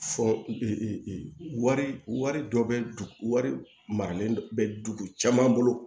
Fɔ wari dɔ bɛ wari maralen bɛ dugu caman bolo